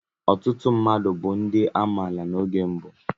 Ọtụtụ mmadụ bu ndi amaala n'oge mbụ.